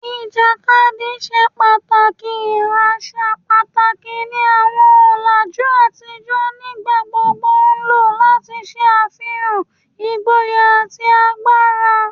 Ijakadi ṣe pataki asa pataki ni awọn ọlaju atijọ, nigbagbogbo lo lati ṣe afihan igboya ati agbara